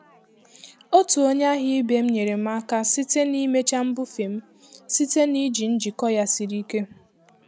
Otu onye ahịa ibe m nyeere m aka site n'ịmecha mbufe m site na iji njikọ ya siri ike.